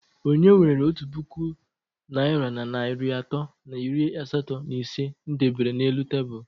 Onye were otu puku naira na narị atọ na iri asatọ na ise m debere n'elu tebụl?